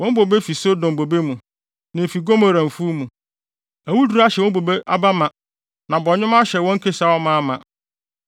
Wɔn bobe fi Sodom bobe mu na efi Gomora mfuw mu. Awuduru ahyɛ wɔn bobe aba mma, na bɔnwoma ahyɛ wɔn kasiaw amaama.